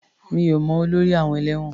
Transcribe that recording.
Mi ò mọ olórí àọn ẹ̀lẹ́wọ̀n.